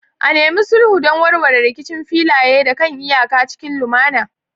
A nemi sulhu don warware rikicin filaye da kan iyaka cikin lumana.